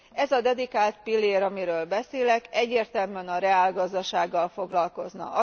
Ez a dedikált pillér, amiről beszélek, egyértelműen a reálgazdasággal foglalkozna.